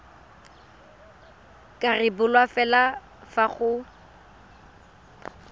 ka rebolwa fela fa go